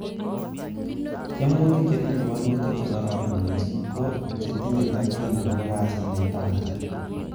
Theimutik che tinye woluutik che kororon missing, ko chetinye tokyin agobo kasit netabanat.